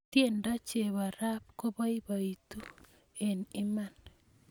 tiendo chepo rap kopoipoito eng iman